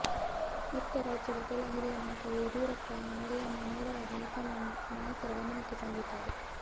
ಇತ್ತ ರಾಜ್ಯದ ಕೆಲ ಹಿರಿಯ ನಾಯಕರು ಯಡಿಯೂರಪ್ಪರ ನಡೆಯನ್ನ ನೇರವಾಗಿ ಹೈಕಮಾಂಡ್ ನಾಯಕರ ಗಮನಕ್ಕೆ ತಂದಿದ್ದಾರೆ